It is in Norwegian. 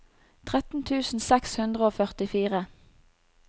tretten tusen seks hundre og førtifire